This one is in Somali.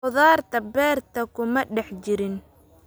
Khudaarta beerta kuma dhex jirin